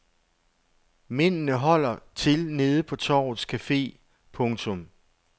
Mændene holder til nede på torvets café. punktum